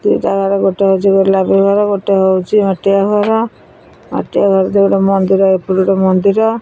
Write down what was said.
ଦି ଟା ଘର ଗୋଟେ ହଉଚି ଗୋଲାପି ଘର ଗୋଟେ ହଉଚି ମାଟିଆ ଘର ମାଟିଆ ଘର ଯୋଉଟା ମନ୍ଦିର ଏପଟକୁ ଗୋଟେ ମନ୍ଦିର।